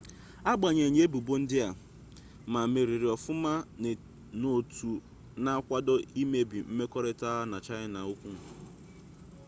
agbanyeghị ebubo ndị a ma meriri ọfụma n'otu na-akwado ịmụba mmekọrịta ha na chaịna ukwu